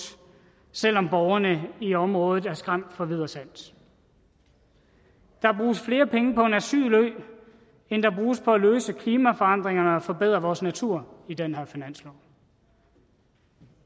selv om borgerne i området er skræmt fra vid og sans der bruges flere penge på en asylø end der bruges på at løse klimaforandringerne og forbedre vores natur i den her finanslov